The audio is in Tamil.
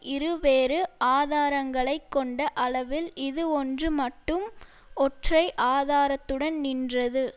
இரு வேறு ஆதாரங்களை கொண்ட அளவில் இது ஒன்று மட்டும் ஒற்றை ஆதாரத்துடன் நின்றது